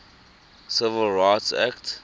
civil rights act